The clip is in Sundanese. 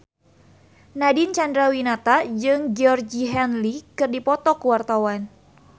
Nadine Chandrawinata jeung Georgie Henley keur dipoto ku wartawan